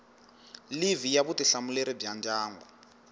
livhi ya vutihlamuleri bya ndyangu